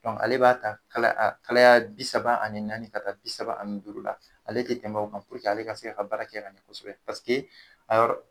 Bɔn ale b'a ta kala akalaya bi saba ani naani ka taa bi saba ani duuru la ale te tɛmɛ o ka puruke ale ka se ka baara kɛ ka ɲɛ kosɛbɛ paseke a yɔrɔ